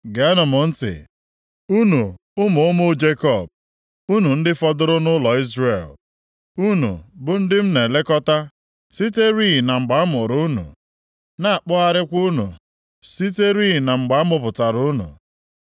“Geenụ m ntị, unu ụmụ ụmụ Jekọb, unu ndị fọdụrụ nʼụlọ Izrel, unu bụ ndị m na-elekọta siterị na mgbe a mụrụ unu na-akpọgharịkwa unu siterị na mgbe amụpụtara unu.